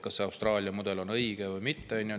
Kas see Austraalia mudel on õige või mitte?